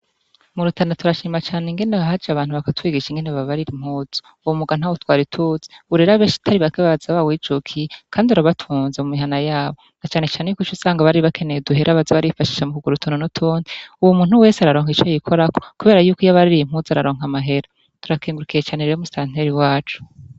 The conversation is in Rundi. Murutana turashima cane ingene haje abantu bakatwigisha ingene babarira impuzu uwo mwuga ntawe twari tuzi ubu rero benshi atari bake baza bawijukiye kandi urabatunze mu mihana yabo na canecane yuko ico usanga bari bakeneye duhera baza barifashisha mu kugara utuntu n'utundi, ubu umuntu wese araronka ico yikorako kubera yuko iyo abaririye impuzu araronka amahera, turakengurukiye cane rero mustanteri wacu.